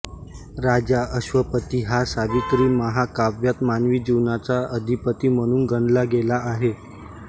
राजा अश्वपती हा सावित्री महाकाव्यात मानवी जीवनाचा अधिपती म्हणून गणला गेला आहे